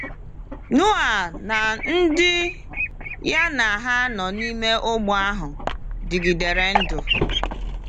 Noa na ndị ya na ha nọ n’ime ụgbọ ahụ dịgidere ndụ.